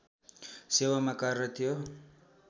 सेवामा कार्यरत थियो